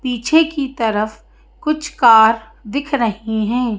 पीछे की तरफ कुछ कार दिख रही हैं।